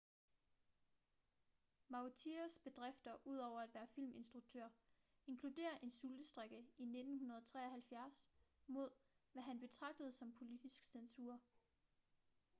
vautiers bedrifter ud over at være filminstruktør inkluderer en sultestrejke i 1973 mod hvad han betragtede som politisk censur